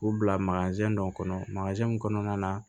K'u bila dɔ kɔnɔ mun kɔnɔna na